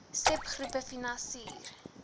seb groepe finansier